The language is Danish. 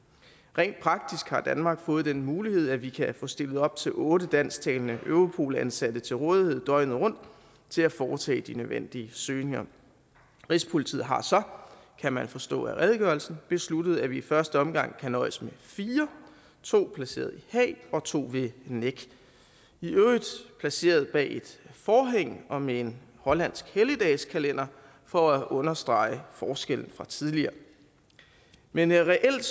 rent praktisk har danmark fået den mulighed at vi kan få stillet op til otte dansktalende europol ansatte til rådighed døgnet rundt til at foretage de nødvendige søgninger rigspolitiet har så kan man forstå af redegørelsen besluttet at vi i første omgang kan nøjes med fire to placeret i haag og to ved nec i øvrigt placeret bag et forhæng og med en hollandsk helligdagskalender for at understrege forskellen fra tidligere men reelt